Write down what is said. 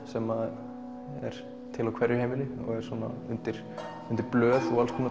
sem er til á hverju heimili og er undir blöð og